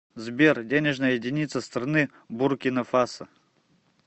сбер денежная единица страны буркина фасо